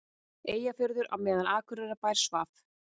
Eyjafjörðinn á meðan Akureyrarbær svaf.